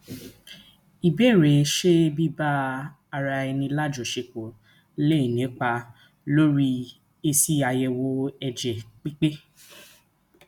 ìbéèrè ṣé biba ara eni lajosepo lè nípa lórí esi ayewo ẹjẹ pipe